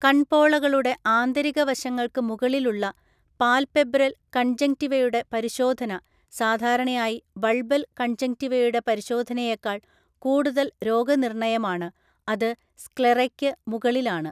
കൺപോളകളുടെ ആന്തരിക വശങ്ങൾക്ക് മുകളിലുള്ള പാൽപെബ്രൽ കൺജങ്ക്റ്റിവയുടെ പരിശോധന സാധാരണയായി ബൾബൽ കൺജങ്ക്റ്റിവയുടെ പരിശോധനയേക്കാൾ കൂടുതൽ രോഗനിർണയമാണ്, അത് സ്ക്ലെറയ്ക്ക് മുകളിലാണ്.